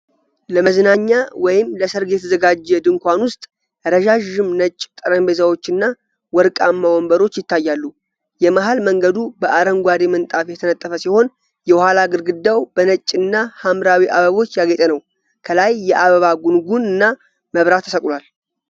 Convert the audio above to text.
ለመዝናኛ ወይም ለሠርግ የተዘጋጀ ድንኳን ውስጥ ረዣዥም ነጭ ጠረጴዛዎችና ወርቃማ ወንበሮች ይታያሉ። የመሀል መንገዱ በአረንጓዴ ምንጣፍ የተነጠፈ ሲሆን፣ የኋላ ግድግዳው በነጭና ሀምራዊ አበቦች ያጌጠ ነው። ከላይ የአበባ ጉንጉንና መብራት ተሰቅሏል።